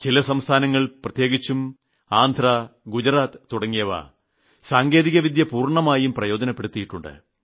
ചില സംസ്ഥാനങ്ങൾ പ്രത്യേകിച്ചും ആന്ധ്ര ഗുജറാത്ത് തുടങ്ങിയവ സാങ്കേതികവിദ്യ പൂർണ്ണമായും പ്രയോജനപ്പെടുത്തിയിട്ടുണ്ട്